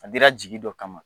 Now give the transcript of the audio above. A dira jigi dɔ kama